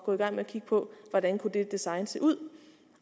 gå i gang med at kigge på hvordan det design kunne se ud